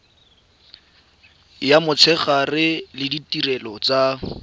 ya motshegare le ditirelo tsa